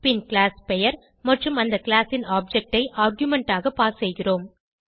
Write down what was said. பின் class பெயர் மற்றும் அந்த கிளாஸ் ன் ஆப்ஜெக்ட் ஐ ஆர்குமென்ட் ஆக பாஸ் செய்கிறோம்